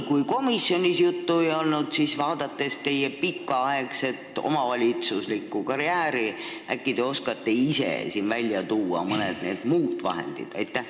Kui komisjonis sellest juttu ei olnud, siis äkki te oskate, arvestades oma pikaaegset omavalitsuslikku karjääri, ise siin välja tuua mõne nendest muudest vahenditest.